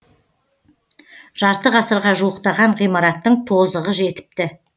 жарты ғасырға жуықтаған ғимараттың тозығы жетіпті